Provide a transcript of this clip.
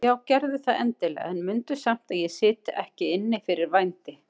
Já gerðu það endilega en mundu samt að ég sit ekki inni fyrir vændi.